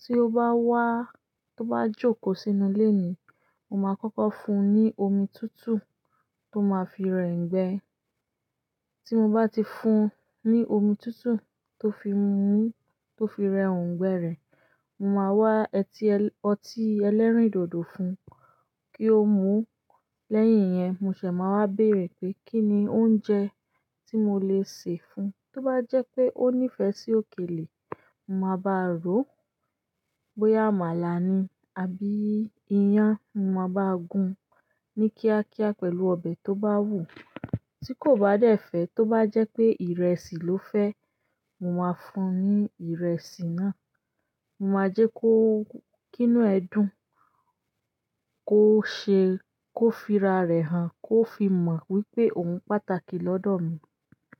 Tí ó bá wá, tí ó bá jókòó sínú ilé mi, mo máa kọ́kọ́ fún un ní omi tútù tó máa fi rẹ òǹgbẹ. Tí mo bá ti fún un ní omi tútù tó fi mu, tó fi rẹ òǹgbẹ rẹ̀, mo máa wá ọtí ẹlẹ́rìndòdò fún un kí ó mu. Lẹ́yìn iyẹn, mo ṣẹ̀ máa wá béèrè pé kí ni oúnjẹ tí mo le sè fún un. Tí ó bá jẹ́ pé ó nífẹ̀ẹ́ sí òkèlè, mo máa bá ro. Bóyá àmàlà ni àbí iyán, mo máa bá gun ní kíákíá pẹ̀lú ọbẹ̀ tó bá wù ú. Tí kò bá dẹ̀ fẹ́, tí ó bá jẹ́ pé ìrẹsì ló fẹ́, mo máa fún un ní ìrẹsì náà. Mo máa jẹ́ kí inú ẹ dùn, kó ṣe kó fi ra rẹ̀ hàn, kó fi mọ̀ wípé òun pàtàkì lọ́dọ̀ mi.